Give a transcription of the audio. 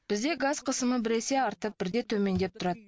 бізде газ қысымы біресе артып бірде төмендеп тұрады